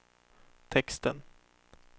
texten